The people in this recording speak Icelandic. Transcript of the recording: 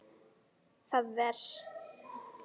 Það venst.